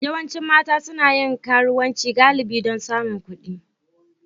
Yawancin mata suna yin karuwanci galibi don samun kuɗi